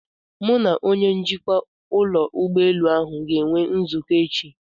Mụ na onye njikwa ụlọ ụgbọelu ahụ ga-enwe nzukọ echi.